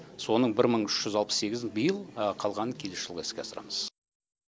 соның бір мың үш жүз алпыс сегізін биыл а қалғанын келесі жылы іске асырамыз